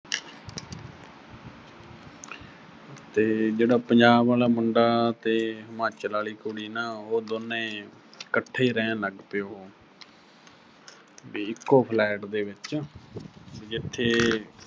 ਤੇ ਜਿਹੜਾ ਪੰਜਾਬ ਆਲਾ ਮੁੰਡਾ ਤੇ ਹਿਮਾਚਲ ਆਲੀ ਕੁੜੀ ਨਾ ਅਹ ਉਹ ਦੋਨੇਂ, ਇਕੱਠੇ ਰਹਿਣ ਲੱਗ ਪਏ ਉਹੋ। ਵੀ ਇੱਕੋ flat ਦੇ ਵਿੱਚ ਅਹ ਜਿੱਥੇ